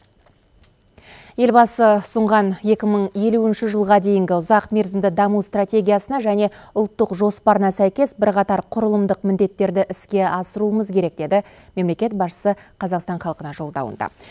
елбасы ұсынған екі мың елуінші жылға дейінгі ұзақ мерзімді даму стратегиясына және ұлттық жоспарына сәйкес бірқатар құрылымдық міндеттерді іскер асыруымыз керек деді мемлекет басшысы қазақстан халқына жолдауында